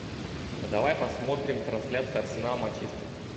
а давай посмотрим трансляцию арсенал манчестер